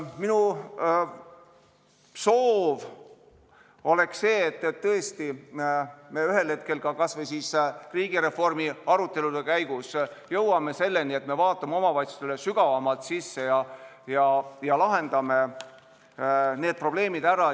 Minu soov on see, et me ühel hetkel kas või riigireformi arutelude käigus jõuame selleni, et me süveneme omavalitsuste probleemidesse sügavamalt ja lahendame need probleemid ära.